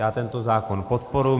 Já tento zákon podporuji.